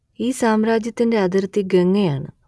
ഈ സാമ്രാജ്യത്തിന്റെ അതിർത്തി ഗംഗ ആണ്